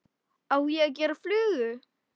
Á ég að gera flugu?